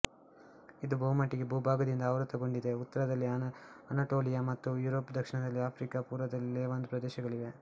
ಇದು ಬಹುಮಟ್ಟಿಗೆ ಭೂಭಾಗದಿಂದ ಆವೃತ ಗೊಂಡಿದೆ ಉತ್ತರದಲ್ಲಿ ಅನಟೋಲಿಯ ಮತ್ತು ಯುರೋಪ್ ದಕ್ಷಿಣದಲ್ಲಿ ಆಫ್ರಿಕ ಮತ್ತು ಪೂರ್ವದಲ್ಲಿ ಲೇವಾಂತ್ ಪ್ರದೇಶಗಳಿವೆ